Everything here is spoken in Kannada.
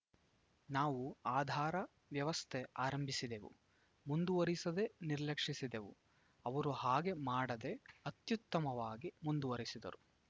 ನಾವು ಆಧಾರ ವ್ಯವಸ್ಥೆ ಆರಂಭಿಸಿದೆವು ಮುಂದುವರೆಸದೇ ನಿರ್ಲಕ್ಷಿಸಿದೆವು ಅವರು ಹಾಗೆ ಮಾಡದೇ ಅತ್ಯುತ್ತಮವಾಗಿ ಮುಂದುವರೆಸಿದರು